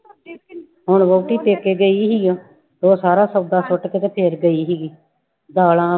ਹੁਣ ਵਹੁਟੀ ਪੇਕੇ ਗਈ ਹੋਈ ਆ, ਉਹ ਸਾਰਾ ਸੌਦਾ ਸੁੱਟ ਕੇ ਤੇ ਫਿਰ ਗਈ ਸੀਗੀ, ਦਾਲਾਂ